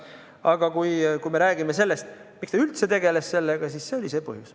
Aga kui me räägime sellest, miks ta üldse sellega tegeles, siis see oli see põhjus.